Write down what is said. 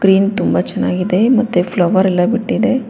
ಪ್ರೇಮ್ ತುಂಬಾ ಚೆನ್ನಾಗಿದೆ ಮತ್ತೆ ಫ್ಲವರ್ ಎಲ್ಲ ಬಿಟ್ಟಿದೆ.